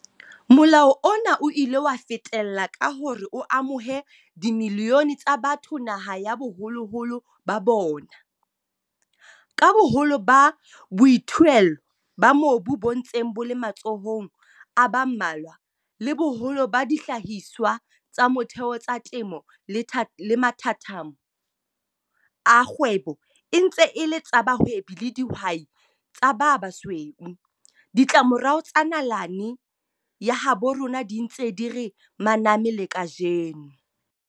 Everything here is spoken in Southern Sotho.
Molao ona o ile wa fetella ka hore o amohe dimilione tsa batho naha ya baholoholo ba bona. Ka boholo ba boithuelo ba mobu bo ntseng bo le matsohong a ba mmalwa, le boholo ba dihlahiswa tsa motheo tsa temo le mathathamo a kgwebo e ntse e le tsa bahwebi ba dihwai tsa ba basweu, ditlamorao tsa nalane ya habo rona di ntse di re maname le kajeno.